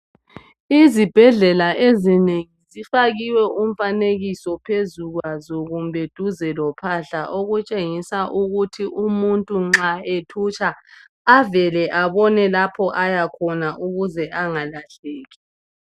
Ezibhedlela ezinengi kufakiwe umfanekiso phezu kwaso kumbe duze lophahla okutshengisa ukuthi umuntu nxa ethutsha avele abone lapho ayakhona ukuze angalahleki.